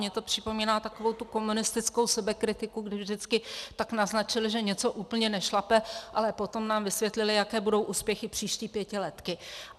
Mně to připomíná takovou tu komunistickou sebekritiku, kdy vždycky tak naznačili, že něco úplně nešlape, ale potom nám vysvětlili, jaké budou úspěchy příští pětiletky.